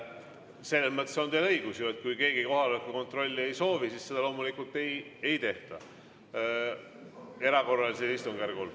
Selles mõttes on teil õigus, et kui keegi kohaloleku kontrolli ei soovi, siis seda loomulikult ei tehta erakorralisel istungjärgul.